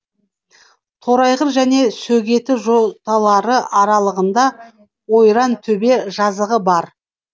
торайғыр және сөгеті жоталары аралығында ойрантөбе жазығы бар